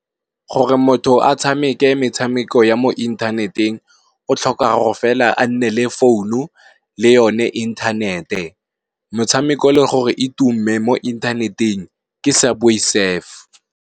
Gore motho a tshameke metshameko ya mo inthaneteng o tlhoka go fela a nne le founu le yone inthanete, motshameko le gore e tumme mo inthaneteng ke subway surf.